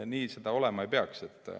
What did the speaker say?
Nii see olema ei peaks.